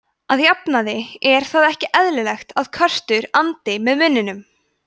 að jafnaði er það ekki eðlilegt að köttur andi með munninum